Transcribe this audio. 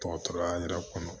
Dɔgɔtɔrɔya yɛrɛ kɔnɔ